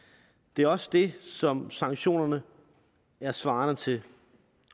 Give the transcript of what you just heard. det er også det som sanktionerne er svarende til